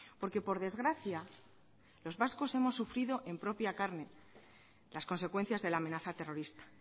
porque por desgracia los vascos hemos sufrido en propia carne las consecuencias de la amenaza terrorista